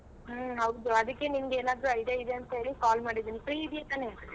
ಹ್ಮ್ ಹೌದು ಅದಿಕ್ಕೆ ನಿಮ್ಗೆ ಏನಾದ್ರು idea ಇದೆ ಅಂತೇಳಿ call ಮಾಡಿದ್ದೀನಿ free ಇದ್ದೀಯ ತಾನೇ?